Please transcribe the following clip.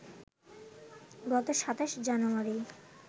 গত২৭ জানুয়ারি